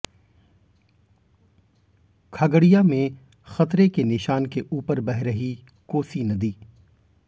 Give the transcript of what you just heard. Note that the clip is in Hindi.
खगड़िया में खतरे के निशान के ऊपर बह रही कोसी नदी